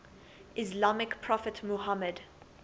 islamic prophet muhammad